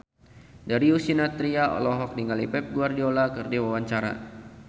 Darius Sinathrya olohok ningali Pep Guardiola keur diwawancara